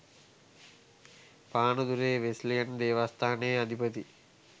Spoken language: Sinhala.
පානදුරේ වෙස්ලියන් දේවස්ථානයේ අධිපති